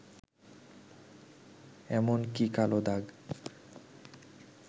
এমন কিকালো দাগ